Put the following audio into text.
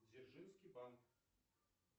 дзержинский банк